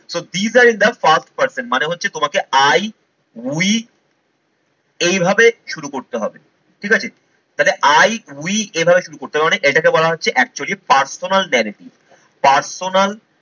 So be the in the first person মানে হচ্ছে তোমাকে I, we এইভাবে শুরু করতে হবে ঠিক আছে? তাহলে I, we এভাবে শুরু করতে হবে মানে এটাকে বলা হচ্ছে actually personal personal